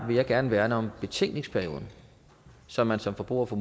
vil jeg gerne værne om betænkningsperioden så man som forbruger får